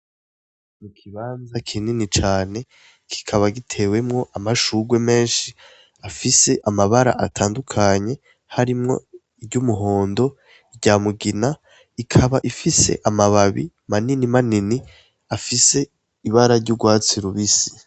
Ikibanza kinini cane kikaba gitewemwo amashurwe menshi afise amabara atandukanye harimwo iryumuhondo, iryamugina ikaba ifise amababi manini manini afise ibara ry'urwatsi rubisi.